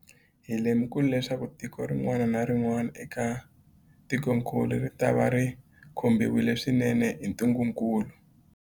Hi lemukile leswaku tiko rin'wana na rin'wana eka tikokulu ritava ri khumbiwile swinene hi ntungukulu.